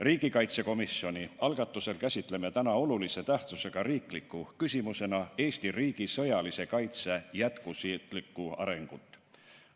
Riigikaitsekomisjoni algatusel käsitleme täna olulise tähtsusega riikliku küsimusena Eesti riigi sõjalise kaitse jätkusuutlikku arengut.